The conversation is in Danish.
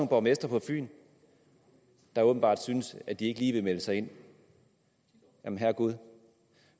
borgmestre på fyn der åbenbart synes at de ikke lige vil melde sig ind jamen herregud